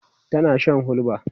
tana Shan hulba